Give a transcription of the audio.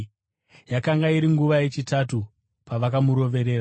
Yakanga iri nguva yechitatu pavakamuroverera.